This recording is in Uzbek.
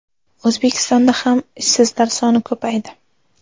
O‘zbekistonda ham ishsizlar soni ko‘paydi.